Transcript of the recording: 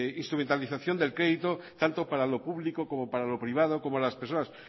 instrumentalización del crédito tanto para lo público como para lo privado como las personas